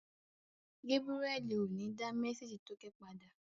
Gébúrẹ́li ò ní dá mésèjì tókẹ́ padà